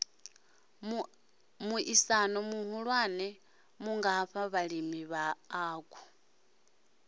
muaisano muhula mungafha vhalimi vhauku